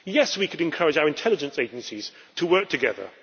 Yes, we could encourage our intelligence agencies to work together.